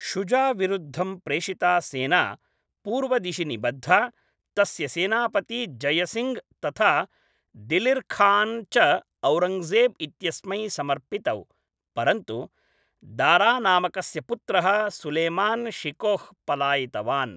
शुजाविरुद्धं प्रेषिता सेना पूर्वदिशि निबद्धा, तस्य सेनापती जयसिङ्घ् तथा दिलिर् खान् च औरङ्गजेब् इत्यस्मै समर्पितौ, परन्तु दारानामकस्य पुत्रः सुलेमान् शिकोह् पलायितवान्।